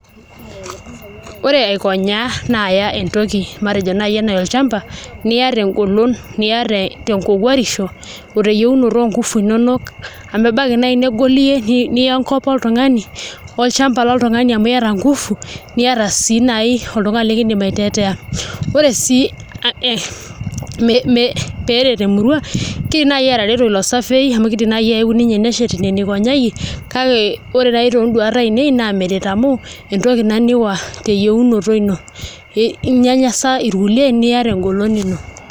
Ore aikonyaa naa aaya entoki matejo naa enaa olchamba niya tengolon niya tenkowuarisho o teyieunoto oonkufu inonok amu ebaiki naai nigol iyie niya enkop oltung'ani olchamba loltung'ani amu iata nguvu niata sii naai oltung'ani likiidim aiteteea, ore sii pee eret emurua kiidim naai atareto ilo saviyai amu kiidim nelotu ninye neshet inewueji nikonyaiyie kake ore naai toonduat ainei naa meret amu entoki ina niawa teyieunoto ino, inyanyasa irkulie niya tengolon ino.